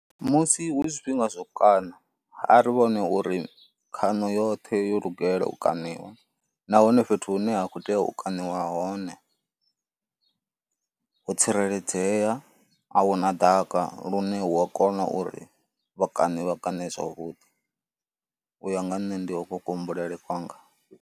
Musi hu zwifhinga zwa u kaṋa, a ri vhone uri khaṋo yoṱhe yo lugela u kaṋiwa nahone fhethu hune ha khou tea u kaṋiwa hone ho tsireledzea, a hu na ḓaka lune hu a kona uri vhakaṋe vha kaṋe zwavhuḓi. U ya nga nne ndi hokwo kuhumbulele kwanga.